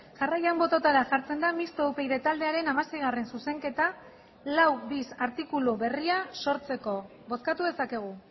jarraian bototara jartzen da mistoa upyd taldearen hamasei zuzenketa lau bis artikulu berria sortzeko bozkatu dezakegu